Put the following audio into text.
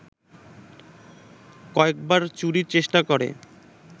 কয়েকবার চুরির চেষ্টা করে